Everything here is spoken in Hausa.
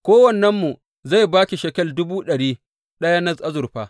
Kowannenmu zai ba ki shekel dubu ɗari ɗaya na azurfa.